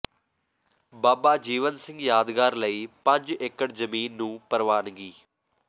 ਬਾਬਾ ਜੀਵਨ ਸਿੰਘ ਯਾਦਗਾਰ ਲਈ ਪੰਜ ਏਕੜ ਜ਼ਮੀਨ ਨੂੰ ਪ੍ਰਵਾਨਗੀ